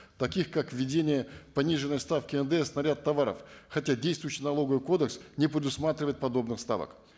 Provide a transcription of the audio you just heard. таких как введение пониженной ставки ндс на ряд товаров хотя действующий налоговый кодекс не предусматривает подобных ставок